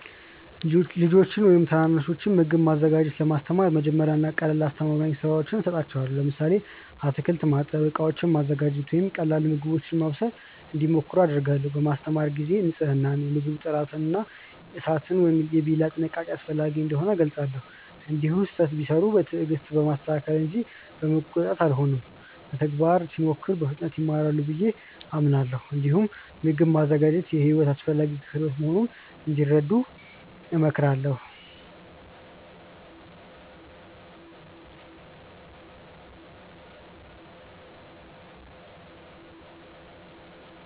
ልጆችን ወይም ታናናሾችን ምግብ ማዘጋጀት ለማስተማር መጀመሪያ ቀላልና አስተማማኝ ሥራዎችን እሰጣቸዋለሁ። ለምሳሌ አትክልት ማጠብ፣ ዕቃዎችን ማዘጋጀት ወይም ቀላል ምግቦችን ማብሰል እንዲሞክሩ አደርጋለሁ። በማስተማር ጊዜ ንፅህናን፣ የምግብ ጥራትን እና የእሳት ወይም የቢላ ጥንቃቄን አስፈላጊ እንደሆኑ እገልጻለሁ። እንዲሁም ስህተት ቢሠሩ በትዕግስት በማስተካከል እንጂ በመቆጣት አልሆንም። በተግባር ሲሞክሩ በፍጥነት ይማራሉ ብዬ አምናለሁ። እንዲሁም ምግብ ማዘጋጀት የሕይወት አስፈላጊ ክህሎት መሆኑን እንዲረዱ እሞክራለሁ።